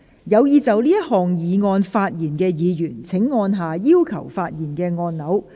有意就這項議案發言的議員請按下"要求發言"按鈕。